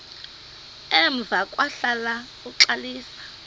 emva kwahlala uxalisa